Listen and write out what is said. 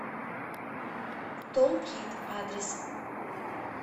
томплит адрес